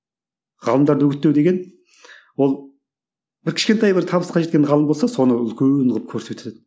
ғалымдарды үгіттеу деген ол бір кішкентай бір табысқа жеткен ғалым болса соны үлкен қылып көрсететін